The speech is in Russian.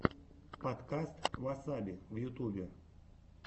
подкаст васаби в ютубе